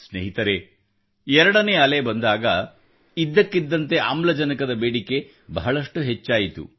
ಸ್ನೇಹಿತರೆ 2 ನೇ ಅಲೆ ಬಂದಾಗ ಇದ್ದಕ್ಕಿದ್ದಂತೆ ಆಮ್ಲಜನಕದ ಬೇಡಿಕೆ ಬಹಳಷ್ಟು ಹೆಚ್ಚಾಯಿತು